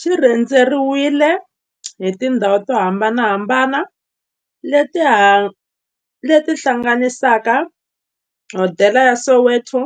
Xi rhendzeriwile hi tindhawu to hambanahambana le ti hlanganisaka, hodela ya Soweto,